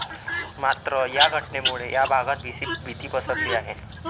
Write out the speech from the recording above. मात्र, या घटनेमुळे या भागात भीती पसरली आहे.